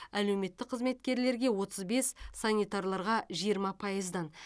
әлеуметтік қызметкерлерге отыз бес санитарларға жиырма пайыздан